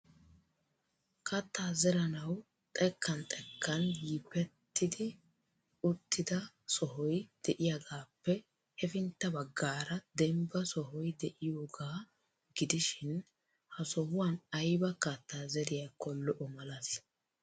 Katta zeranawu xekkan xekkan yippetti uttida sohoy de'iyaagappe hefintta baggaara dembba sohoy de'iyooga gidishin ha sohuwan ayba kattaa zeriyakko lo"o malati?